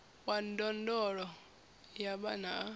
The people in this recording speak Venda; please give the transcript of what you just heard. wa ndondolo ya vhana a